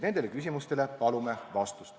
Nendele küsimustele palume vastust.